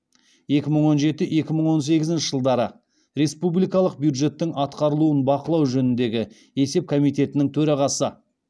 екі мың он жеті екі мың он сегізінші жылдары республикалық бюджеттің атқарылуын бақылау жөніндегі есеп комитетінің төрағасы